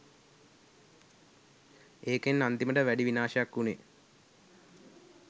ඒකෙන් අන්තිමට වැඩි විනාශයක් උනේ